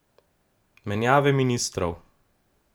Menjave ministrov.